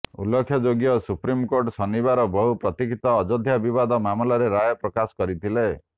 ଉଲ୍ଲେଖ ଯୋଗ୍ୟ ସୁପ୍ରିମକୋର୍ଟ ଶନିବାର ବହୁ ପ୍ରତୀକ୍ଷିତ ଅଯୋଧ୍ୟା ବିବାଦ ମାମଲାର ରାୟ ପ୍ରକାଶ କରିଥିଲେ